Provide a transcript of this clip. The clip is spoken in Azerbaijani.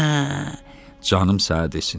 Hə, canım sənə desin.